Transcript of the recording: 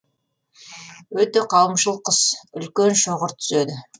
өте қауымшыл құс үлкен шоғыр түзеді